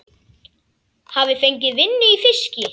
Hafi fengið vinnu í fiski.